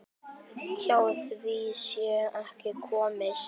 Hjá því sé ekki komist.